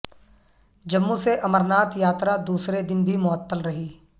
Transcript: جموں سے امرناتھ یاترا دوسرے دن بھی معطل رہی